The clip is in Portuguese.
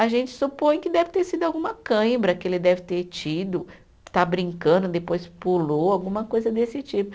A gente supõe que deve ter sido alguma cãibra que ele deve ter tido, está brincando, depois pulou, alguma coisa desse tipo.